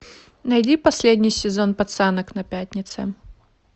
найди последний сезон пацанок на пятнице